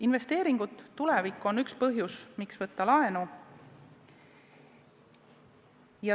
Investeeringud tulevikku on üks põhjusi, miks võtta laenu.